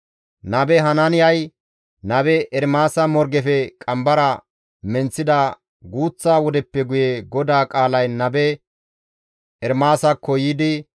Nabe Hanaaniyay nabe Ermaasa morgefe qambara menththida guuththa wodeppe guye GODAA qaalay nabe Ermaasakko yiidi,